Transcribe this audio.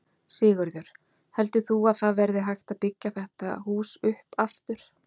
Sigurður: Heldur þú að það verði hægt að byggja þetta hús upp aftur?